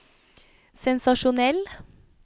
sensasjonell